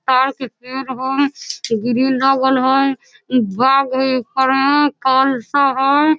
ताड़ के पेड़ हई ग्रील लागल हई इ बाघ हई ऊपर में कल्शा हई।